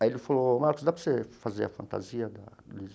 Aí ele falou, Marcos, dá para você fazer a fantasia